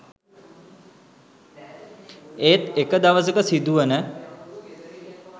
ඒත් එක දවසක සිදුවන